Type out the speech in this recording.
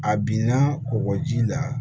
A binna kɔgɔji la